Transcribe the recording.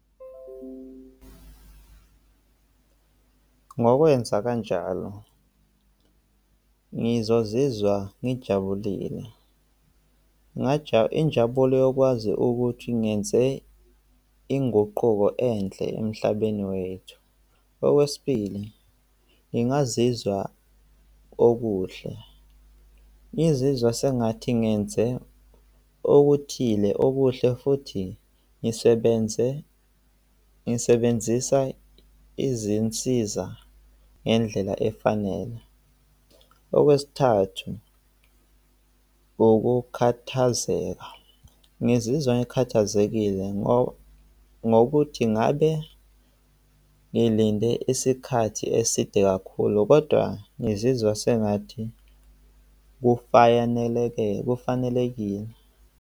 Ngokwenza kanjalo ngizozizwa ngijabulile. Injabulo yokwazi ukuthi ngenze inguquko enhle emhlabeni wethu. Okwesibili, ngingazizwa okuhle, ngizizwa sengathi ngenze okuthile okuhle futhi ngisebenze, ngisebenzisa izinsiza ngendlela efanele. Okwesithathu, ukukhathazeka, ngizizwa ngikhathazekile ngokuthi ngabe ngilinde isikhathi eside kakhulu kodwa ngizizwa sengathi kufanelekile.